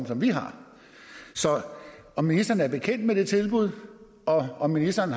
som vi har så er ministeren bekendt med det tilbud og har ministeren